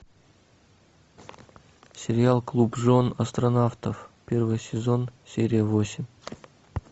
сериал клуб жен астронавтов первый сезон серия восемь